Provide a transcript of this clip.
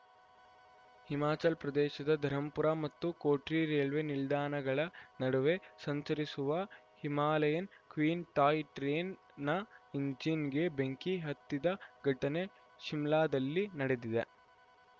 ಹಿಮಾಚಲಪ್ರದೇಶದ ಧರಂಪುರ ಮತ್ತು ಕೋಟ್ರಿ ರೈಲ್ವೆ ನಿಲ್ದಾಣಗಳ ನಡುವೆ ಸಂಚರಿಸುವ ಹಿಮಾಲಯನ್‌ ಕ್ವೀನ್‌ ಟಾಯ್‌ ಟ್ರೈನ್‌ನ ಇಂಜಿನ್‌ಗೆ ಬೆಂಕಿ ಹತ್ತಿದ ಘಟನೆ ಶಿಮ್ಲಾದಲ್ಲಿ ನಡೆದಿದೆ